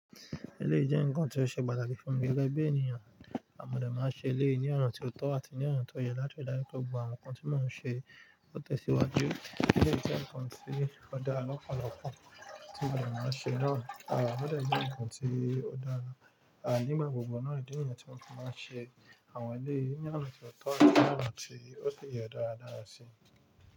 Eleyi jẹ́ ǹkan tí ó ṣe pàtàkì fún mi gege bi ènìyàn, mọ́ de máa ń ṣe eléyi ní ọ̀na tí ó tọ́ àti ní ọ̀na tí ó yẹ láti ri daju pe gbogbo àwọn ǹkan tí mo ń ṣe ó tẹ̀síwájú. Éleyi jẹ́ ǹkan tí ó dára lọ́pọ̀lọpọ̀ tí mo de máa ń ṣe náà. À ọ̀de jẹ́ ǹkan tí ó dára nígbà gbogbo náà ìdí niyen tí mo fi máa ń ṣe àwọn eléyi ní ọ̀nà tí ó tọ́ àti ní ọ̀nà tí ó sì yẹ dáradára sí.